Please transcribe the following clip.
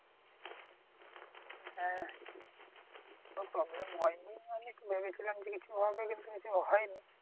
হ্যাঁ কোন problem হয়নি। আমি একটু ভেবেছিলাম যে কিছু হবে কিন্তু কিছু হয়নি।